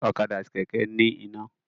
Ọ̀kadà àti Kẹ̀kẹ́ ní iná